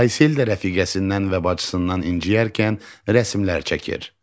Aysel də rəfiqəsindən və bacısından inciyərkən rəsimlər çəkir.